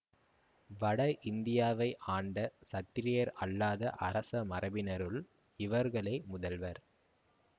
வட இந்தியாவை ஆண்ட சத்திரியர் அல்லாத அரச மரபினருள் இவர்களே முதல்வர்